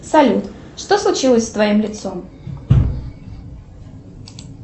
салют что случилось с твоим лицом